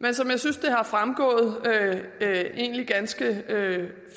men som jeg synes er fremgået ganske